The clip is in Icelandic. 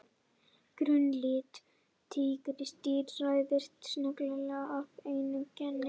Grunnlitur tígrisdýra ræðst sennilega af einu geni.